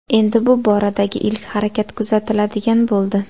Endi bu boradagi ilk harakat kuzatiladigan bo‘ldi.